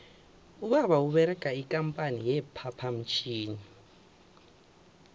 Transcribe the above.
ubaba uberega ikampani ye phaphamtjhini